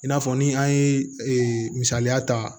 I n'a fɔ ni an ye misaliya ta